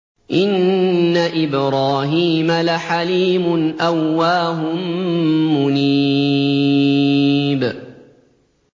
إِنَّ إِبْرَاهِيمَ لَحَلِيمٌ أَوَّاهٌ مُّنِيبٌ